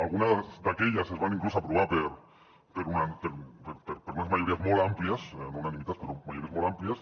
algunes d’aquelles es van inclús aprovar per unes majories molt àmplies no unanimitats però majories molt àmplies